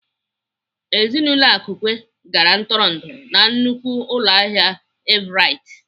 Ezinaụlọ Akukwe gara ntụrụndụ na nnukwu ụlọahịa Everite.